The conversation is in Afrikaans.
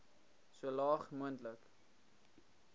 so laag moontlik